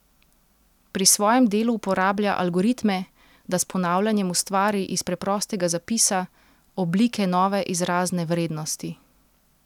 Pri svojem delu uporablja algoritme, da s ponavljanjem ustvari iz preprostega zapisa, oblike nove izrazne vrednosti.